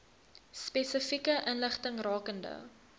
spesifieke inligting rakende